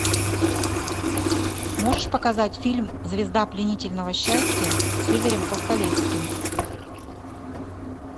можешь показать фильм звезда пленительного счастья с игорем костолевским